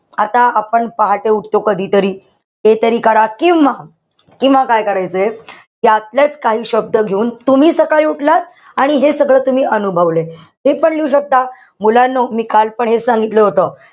आता आपण पहाटे उठतो कधीतरी. ते तरी करा किंवा किंवा काय करायचंय. त्यातलेच काही शब्द घेऊन तुम्ही सकाळी उठलात, आणि हे सगळं तुम्ही अनुभवलं. हेपण लिहू शकता. मुलांनो मी काल पण हेच सांगितलं होत.